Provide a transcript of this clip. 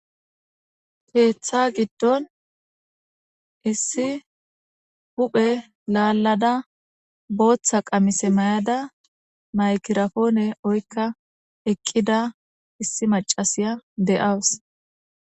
Keththa giddon issi huphphe laladda boththa qammise may'ada mayggiraponne oyikka eqqida issi maccasiya de'awus.